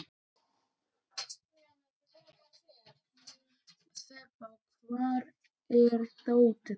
Þeba, hvar er dótið mitt?